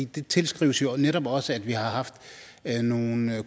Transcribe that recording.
det tilskrives netop også at vi har haft nogle